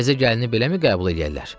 Təzə gəlini beləmi qəbul eləyərlər?